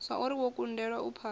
zwauri wo kundelwa u phasa